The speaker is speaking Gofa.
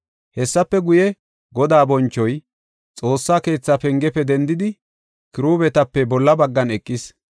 Hessafe guye, Godaa bonchoy Xoossa keetha pengefe dendidi, Kiruubetape bolla baggan eqis.